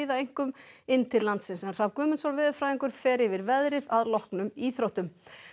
einkum inn til landsins Hrafn Guðmundsson veðurfræðingur fer yfir veðrið að loknum íþróttum